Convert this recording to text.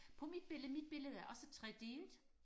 på mit billede mit billede er også tredelt